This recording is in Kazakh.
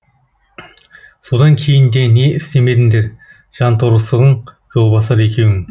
содан кейін де не істемедіңдер жанторсығың жолбасар екеуің